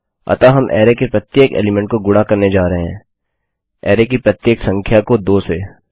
अतः हम अरै के प्रत्येक एलीमेंट को गुणा करने जा रहे हैं अरै की प्रत्येक संख्या को 2 से